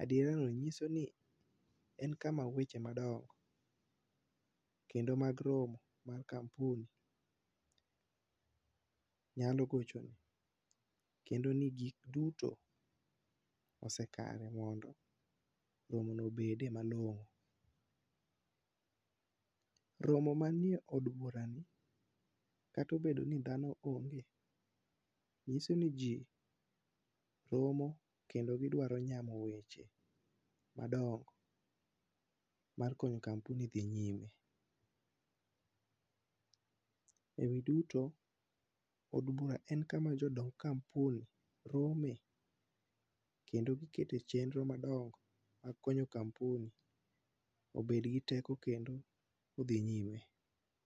Adiera no nyiso ni en kama weche madongo, kendo mag romo mar kampuni nyalo gochone, kendo ni gik duto osekare ni mondo romo no obede malong'o. Romo manie od bura ni, kata obedo ni dhano ong'e, nyiso ni ji romo kendo gidwaro nyamo weche madongo mar konyo kampuni dhi nyime. E wi duto od bura en kama jodong kampuni rome, kendo gikete chenro madongo mar konyo kampuni obed gi teko, kendo odhi nyime.